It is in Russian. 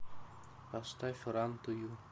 поставь ран ту ю